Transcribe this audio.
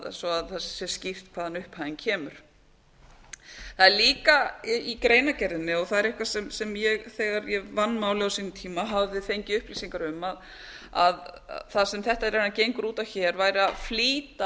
svo það sé skýrt hvaðan upphæðin kemur það er líka í greinargerðinni og það er eitthvað sem ég þegar ég vann málið á sínum tíma hafði fengið upplýsingar um að það sem þetta raunar gengur út á hér væri að flýta